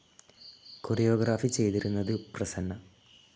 Chorio ഗ്രാഫി ചെയ്തിരിക്കുന്നത് പ്രസന്ന.